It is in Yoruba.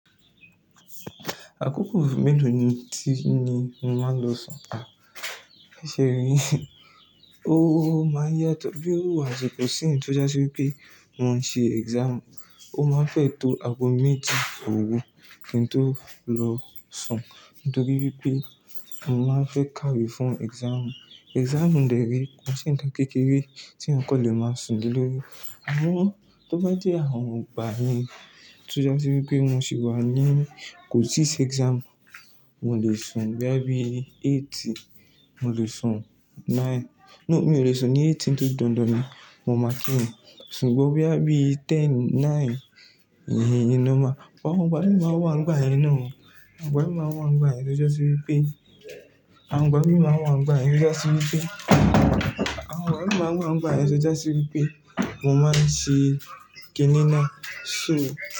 Àkókò mélòó ni tí ni mo máa ń lọ sùn? Ṣé rí, ó máa n yàtọ̀, bí irú àsìkò ìsinyí tó jásí wípé mo ń ṣe exam, ó máa n fẹ́ tó aago méjì òòrù kí n tó lọ sùn nítorí wípé mo máa n fẹ́ ká wé fún exam exam dẹ̀ rẹ̀, kò ń ṣe ǹkan kékeré tí èèyàn kan lè máa sùn lé lórí. Àmọ́ tó bá jẹ́ àwọn ìgbà yẹn, tó já sí wípé mo sì wà ní, kò ti sí exam, mo lè sùn bóyá bí eight, mo lè sùn nine. No, mi ò lè sùn ní eight nítorí dandan ni, mo máa kí irùn, ṣùgbọ́n bóyá bí ten, nine ìyẹn ìyẹn normal-- but àwọn ìgbà mi máa wà ńìgbàyẹn náà o. Ìgbà máa ǹwà ń gbàyẹn tó já sí wípé àwọn ọgbà mi máa wà ń gbàyẹn tó já sí wípé àwọn ọgbà mi máa wà ń gbàyẹn tó já sí wípé mo máa ǹṣì kiní náà so.